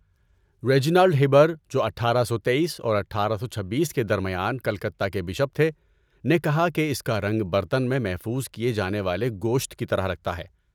Reginald Heber, جو اٹھارہ سو تٔیس اور اٹھارہ سو چھبیس کے درمیان کلکتہ کے بشپ تھے، نے کہا کہ اس کا رنگ برتن میں محفوظ کیے جانے والے گوشت کی طرح لگتا ہے